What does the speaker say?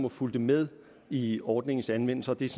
og fulgte med i ordningens anvendelse og det er